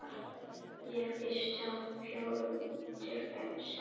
Þau flytjast síðan með vatni og setjast til sem mýrarauði þar sem vatnið afsýrist.